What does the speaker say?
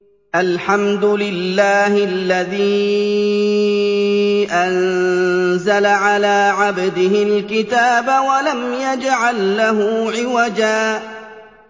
الْحَمْدُ لِلَّهِ الَّذِي أَنزَلَ عَلَىٰ عَبْدِهِ الْكِتَابَ وَلَمْ يَجْعَل لَّهُ عِوَجًا ۜ